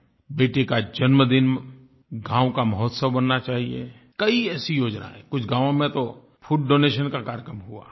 बेटी का जन्मदिन गाँव का महोत्सव बनना चाहिये कई ऐसी योजनायें कुछ गाँव में तो फूड डोनेशन का कार्यक्रम हुआ